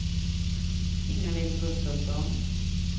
Ingalill Gustafsson